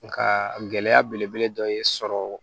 Nka gɛlɛya belebele dɔ ye sɔrɔ